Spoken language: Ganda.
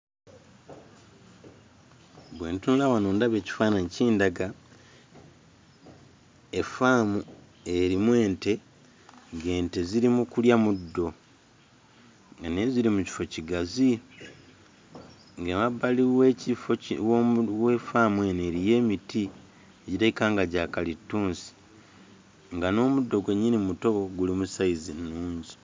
Bwe ntunula wano ndaba ekifaananyi kindaga effaamu erimu ente, ng'ente ziri mu kulya muddo nga naye ziri mu kifo kigazi, ng'emabbali w'ekifo wa ffaamu eno eriyo emiti egirabika nga gya kalittunsi, nga n'omuddo gwennyini muto, guli mu sayizi nnungi.